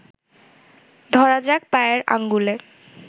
ধরা যাক পায়ের আঙুলে